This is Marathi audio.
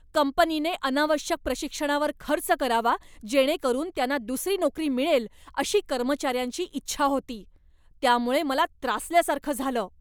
कंपनीने अनावश्यक प्रशिक्षणावर खर्च करावा, जेणेकरून त्यांना दुसरी नोकरी मिळेल अशी कर्मचाऱ्यांची इच्छा होती, यामुळे मला त्रासल्यासारखं झालं.